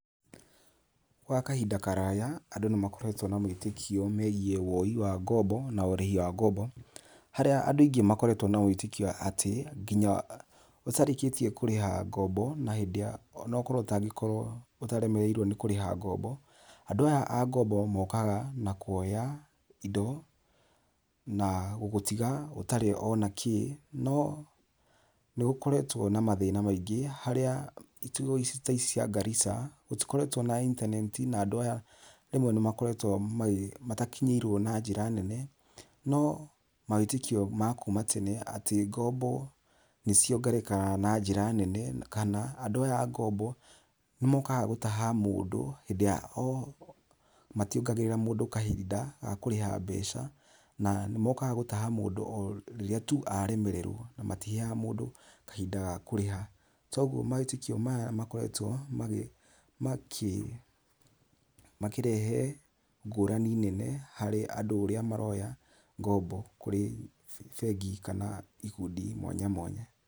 Gwa kahinda karaya andũ nĩ makoretwo na mawĩtĩkio megiĩ wooi wa ngombo na ũrĩhi wa ngombo harĩa andũ aingĩ makoretwo na wĩtĩkio atĩ nginya ũtarĩkĩtie kũrĩha ngombo na hĩndĩ ona okorwo ũtagĩkorwo ũtaremereirwo nĩ kũrĩha ngombo, andũ aya a ngombo mokaga na kuoya indo na gũgũtiga ũtarĩ ona kĩĩ no nĩ gũkoretwo na mathĩna maingĩ harĩa icigo ta ici cia Garissa gũtikoretwo na intaneti na andũ aya ni makoretwo matakinyĩirwo na njĩra nene, no mawĩtĩkio ma kuuma tene atĩ ngombo nĩ ciogererekaga na njĩra nene kana andũ aya a ngombo nĩ mokaga gũtaha mũndũ hĩndĩ ya matiogagĩrĩra mũndũ kahinda ga kũrĩha mbeca na ni mokaga gũtaha mũndũ o rĩrĩa tu aremererwo na matiheaga mũndũ kahinda ga kũrĩha. Toguo mawĩtĩkio maya makoretwo makĩrehe ngũrani nene harĩ andũ ũrĩa maroya ngombo kũrĩ bengi kana ikundi mwanya mwanya.